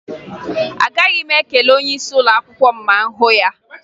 Agaghị m ekele onyeisi ụlọakwụkwọ m ma m hụ ya